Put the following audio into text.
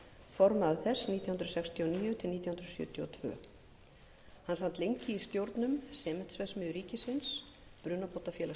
formaður þess nítján hundruð sextíu og níu til nítján hundruð sjötíu og tvö hann sat lengi í stjórnum sementsverksmiðju ríkisins brunabótafélags